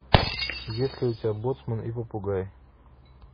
есть ли у тебя боцман и попугай